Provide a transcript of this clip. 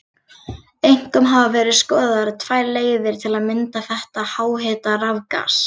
Einkum hafa verið skoðaðar tvær leiðir til að mynda þetta háhita rafgas.